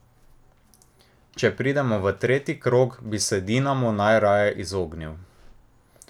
Če pridemo v tretji krog, bi se Dinamu najraje izognil.